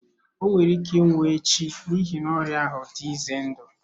O nwere ike ịnwụ echi n'ihi na ọrịa ahụ dị ize ndụ.